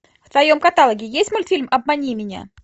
в твоем каталоге есть мультфильм обмани меня